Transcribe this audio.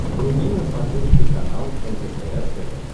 вруби на смотрешке канал лдпр тв